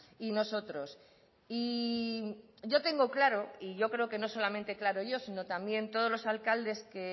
y nosotros y yo tengo claro y yo creo que no solamente claro yo sino también todos los alcaldes que